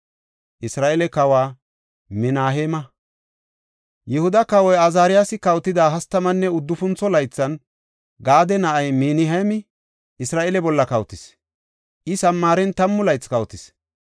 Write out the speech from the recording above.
Yihuda kawoy Azaariyasi kawotida hastamanne uddufuntho laythan, Gaade na7ay Minaheemi Isra7eele bolla kawotis; I Samaaren tammu laythi kawotis.